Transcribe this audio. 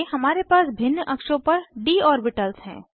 आगे हमारे पास भिन्न अक्षों पर डी ऑर्बिटल्स हैं